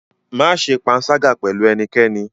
Má ṣe panṣágà pẹ̀lú ẹnikẹ́ni?